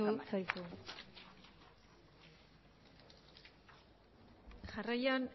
denbora amaitu zaizu jarraian